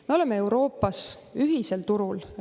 Me oleme Euroopas ühisel turul.